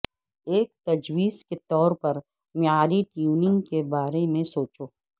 ایک تجویز کے طور پر معیاری ٹیوننگ کے بارے میں سوچو